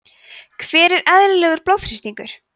hver er eðlilegur blóðþrýstingur